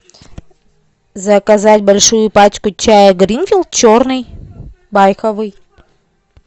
заказать большую пачку чая гринфилд черный байховый